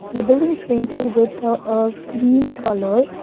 the building is painted with a cream colour.